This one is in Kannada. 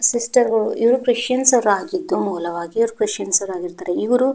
ಇವರು ಸಿಸ್ಟರ್ಗಳು ಇವರು ಕ್ರಿಶ್ಚಿಯನ್ ಇವರು ಕ್ರಿಶ್ಚಿಯನ್ ಆಗಿರುತ್ತಾರೆ.